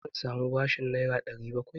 Zan sami bashin Naira 700?